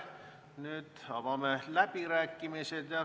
Nüüd avame läbirääkimised.